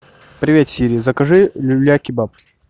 привет сири закажи люля кебаб